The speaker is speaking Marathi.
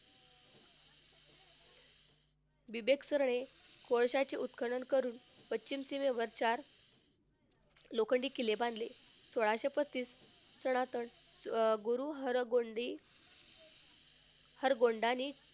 कोळशाचे उत्खनन करून पश्चिम सीमेवर चार लोखंडी किल्ले बांधले. सोळाशे बत्तीस सनातन अह गुरु हरगोविंद हरगोविंदांनी,